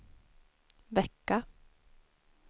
vecka